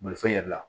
Bolifɛn yɛrɛ la